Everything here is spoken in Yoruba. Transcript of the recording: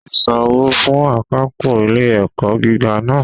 Túndé san owó fún akápò ilé ẹ̀kọ́ gíga náà